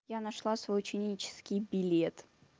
я нашла свой ученический билет